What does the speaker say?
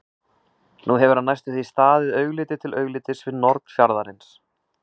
Nú hefur hann næstum því staðið augliti til auglitis við norn fjarðarins.